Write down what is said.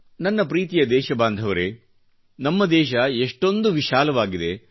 ನನ್ನ ಪ್ರೀತಿಯ ದೇಶಬಾಂಧವರೆ ನಮ್ಮ ದೇಶ ಇಷ್ಟೊಂದು ವಿಶಾಲವಾಗಿದೆ